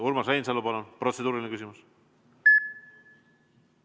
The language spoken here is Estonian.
Urmas Reinsalu, palun, protseduuriline küsimus!